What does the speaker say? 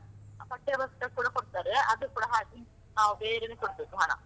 ಪಠ್ಯಪುಸ್ತಕ ಕೂಡಾ ಕೊಡ್ತಾರೆ, ಅದು ಕೂಡಾ ಹಾಗೇ, ನಾವು ಬೇರೇನೆ ಕೊಡ್ಬೇಕು ಹಣ.